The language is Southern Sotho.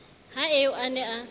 ha eo a ne a